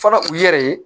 Fɔlɔ u yɛrɛ ye